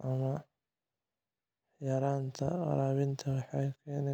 ah ama yaraanta waraabinta waxay keeni kartaa